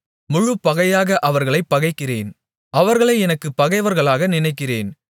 முழுப்பகையாக அவர்களைப் பகைக்கிறேன் அவர்களை எனக்குப் பகைவர்களாக நினைக்கிறேன்